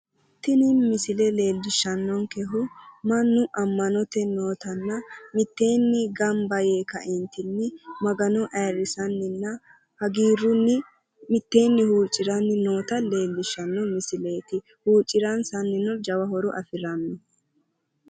Tini misile leellishannonkkehu mannu ama'note mine mitteenni huccirannottanna Maga'nanni noota xawissanote.